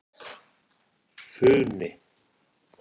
Funi